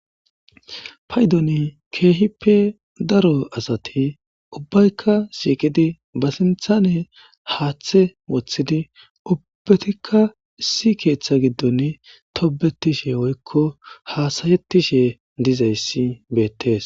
paydon keehippe daro asati ubbaykka shiiqidi ba sinthane haaththe woththidi ubbatikka issi keeththa giddon tobetishe woykko hasayetishe dizayssi beettees